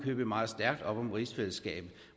købet meget stærkt op om rigsfællesskabet